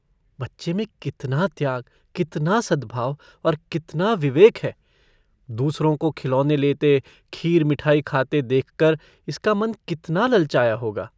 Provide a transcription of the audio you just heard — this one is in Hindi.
बच्चे में कितना त्याग कितना सद्भाव और कितना विवेक है दूसरों को खिलौने लेते खीर मिठाई खाते देखकर इसका मन कितना ललचाया होगा।